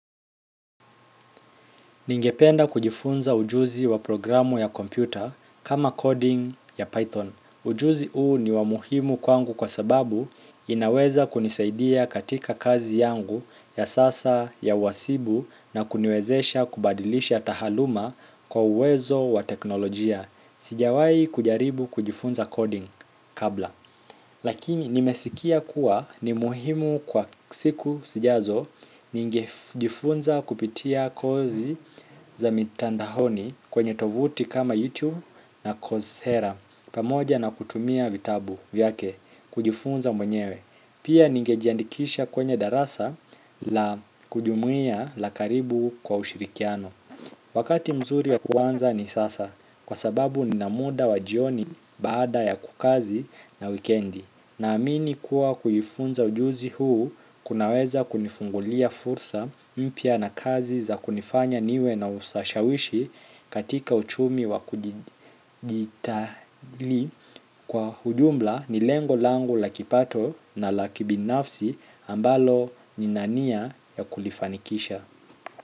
Ningependa kujifunza ujuzi wa programu ya kompyuta kama coding ya Python. Ujuzi huu ni wa muhimu kwangu kwa sababu inaweza kunisaidia katika kazi yangu ya sasa ya uhasibu na kuniwezesha kubadilisha taaluma kwa uwezo wa teknolojia sijawai kujaribu kujifunza coding kabla. Lakini nimesikia kuwa ni muhimu kwa siku sijazo ningejifunza kupitia kozi za mitandaoni kwenye tovuti kama youtube na cousera pamoja na kutumia vitabu vyake kujifunza mwenyewe. Pia ningejiandikisha kwenye darasa la kujumuiya la karibu kwa ushirikiano wakati mzuri ya kuanza ni sasa kwa sababu nina muda wa jioni baada ya kazi na wikendi naamini kuwa kujifunza ujuzi huu kunaweza kunifungulia fursa mpya na kazi za kunifanya niwe na usashawishi katika uchumi wa kujiditali kwa ujumla ni lengo langu la kipato na la kibinafsi ambalo nina nia ya kulifanikisha.